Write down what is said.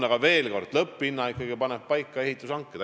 Aga veel kord: lõpphinna panevad ikkagi paika ehitushanked.